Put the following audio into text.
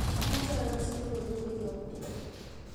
amoje agas logoywek koyob tuko